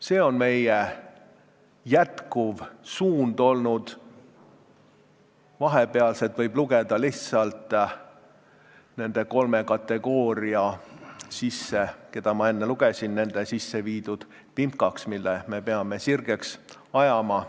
See on olnud meie jätkuv suund, vahepealset võib lugeda lihtsalt nende kolme kategooria, keda ma enne ette lugesin, sisseviidud vimkaks, mille me peame sirgeks ajama.